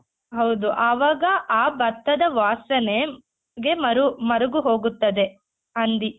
ಹೌದು ಆವಾಗ ಆ ಭತ್ತದ ವಾಸನೆ ಗೆ ಮರು ಮರುಗು ಹೋಗುತ್ತದೆ ಹಂದಿ .